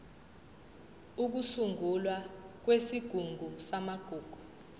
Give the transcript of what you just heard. ukusungulwa kwesigungu samagugu